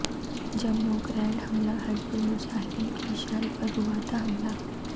Jammu grenade حملہ حزب المجاہدین کے اشارے پر ہوا تھا حملہ